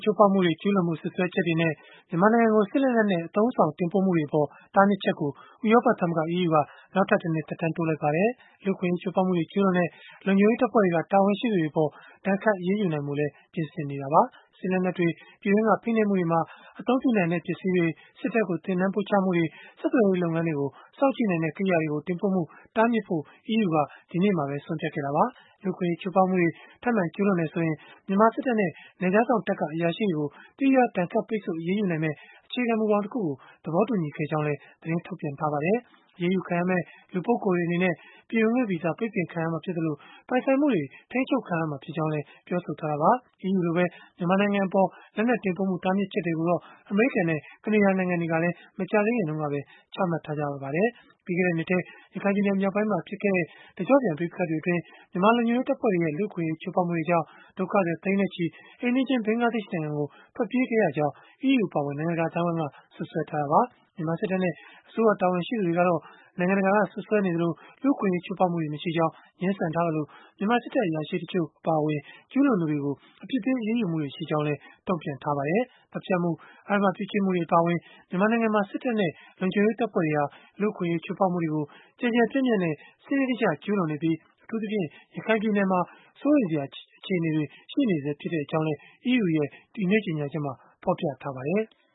ချိုးဖောက်မှုတွေ ကျုးလွန်မှု စွပ်စွဲချက်တွေနဲ့ မြန်မာနိုင်ငံကို စစ်လက်နက်နဲ့ အသုံးအဆောင် တင်ပို့မှုတွေအပေါ် တားမြစ်ချက်ကို ဥရောပသမဂ္ဂ (EU) က နောက်ထပ်တနှစ် သက်တမ်းတိုးလိုက်ပါတယ်။ လူ့အခွင့်အရေး ချိုးဖောက်မှုတွေ ကျုးလွန်တဲ့ လုံခြုံရေးတပ်ဖွဲ့က တာဝန်ရှိသူတွေအပေါ် ဒဏ်ခတ်အရေးယူနိုင်ဖို့လည်း ပြင်ဆင်နေပါတယ်။ စစ်လက်နက်တွေ၊ ပြည်တွင်းက ဖိနှိပ်မှုတွေမှာ အသုံးပြုနိုင်တဲ့ ပစ္စည်းတွေ၊ စစ်တပ်ကို သင်တန်းပို့ချမှုတွေ၊ ဆက်သွယ်ရေး လုပ်ငန်းတွေကို စောင့်ကြည့်နိုင်တဲ့ ကရိယာတွေကို တင်ပို့မှု တားမြစ်ဖို့ EU က ဒီနေ့ပဲ ဆုံးဖြတ်ခဲ့တာပါ။ လူ့အခွင့်အရေး ချိုးဖောက်မှုတွေ ထပ်မံကျုးလွန်တယ်ဆိုရင် မြန်မာစစ်တပ်နဲ့ နယ်ခြားစောင့်တပ်က အရာရှိတွေကို သီးခြား ဒဏ်ခတ်ပိတ်ဆို့ အရေးယူနိုင်မယ့် အခြေခံမူဘောင်တခုကို သဘောတူညီခဲ့ကြောင်းလည်း သတင်းထုတ်ပြန်ထားပါတယ်။ အရေးယူခံရမယ့် လူပုဂ္ဂိုလ်တွေ အနေနဲ့ ပြည်ဝင်ခွင့်ဗီဇာ ပိတ်ခံရမှာဖြစ်သလို၊ ပိုင်ဆိုင်မှုတွေ ထိန်းချုပ်ခံရမှာ ဖြစ်ကြောင်းလည်း ပြောဆိုထားတာပါ။ EU လိုပဲ မြန်မာနိုင်ငံအပေါ် လက်နက်တင်ပို့မှု တားမြစ်ချက်တွေကိုတော့ အမေရိကန်နဲ့ ကနေဒါ နိုင်ငံတွေကလည်း မကြာသေးခင်တုန်းက ချမှတ်ထားကြပါတယ်။ ပြီးခဲ့တဲ့နှစ်ထဲ ရခိုင်ပြည်နယ်မြောက်ပိုင်းမှာ ဖြစ်ပွားခဲ့တဲ့ တကျော့ပြန် ပဋိပက္ခတွေအတွင်း မြန်မာလုံခြုံရေး တပ်ဖွဲ့တွေရဲ့ လူ့အခွင့်အရေး ချိုးဖောက်မှုတွေကြောင့် ဒုက္ခသည်သိန်းနဲ့ချီ အိမ်နီးချင်း ဘင်္ဂလားဒေ့ရှ် နိုင်ငံကို ထွက်ပြေးခဲ့ရကြောင်း EU အပါအဝင် နိုင်ငံတကာ အသိုင်းအဝိုင်းက စွပ်စွဲထားကြတာပါ။ မြန်မာစစ်တပ်နဲ့ အစိုးရတာဝန်ရှိသူတွေ ကတော့ နိုင်ငံတကာက စွပ်စွဲနေသလို လူ့အခွင့်အရေး ချိုးဖောက်မှုတွေ မရှိကြောင်း ငြင်းဆန်ထားသလို၊ မြန်မာစစ်တပ် အရာရှိတချို့ အပါအဝင် ကျုးလွန်သူတွေကို အပြစ်ပေး အရေးယူတာတွေရှိကြောင်း တုံ့ပြန်ထားကြပါတယ်။ သတ်ဖြတ်မှု၊ အဓမ္မပြုကျင့်မှုတွေ အပါအဝင် မြန်မာနိုင်ငံမှာ စစ်တပ်နဲ့ လုံခြုံရေး တပ်ဖွဲ့တွေဟာ လူ့အခွင့်အရေး ချိုးဖောက်မှုတွေကို ကျယ်ကျယ်ပြန့်ပြန့်နဲ့ စနစ်တကျ ကျုးလွန်နေပြီး၊ အထူးသဖြင့် ရခိုင်ပြည်နယ်မှာ စိုးရိမ်စရာ အခြေအနေတွေ ရှိနေဆဲ ဖြစ်ကြောင်းလည်း EU ရဲ့ ဒီနေ့ကြေညာချက်မှာ ဖော်ပြထားပါတယ်။